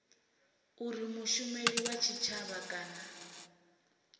uri mushumeli wa tshitshavha kana